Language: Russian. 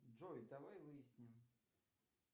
джой давай выясним